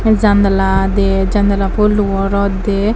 jandala de jandala ful luo rot dei.